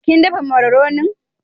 Kin dafa mararonin?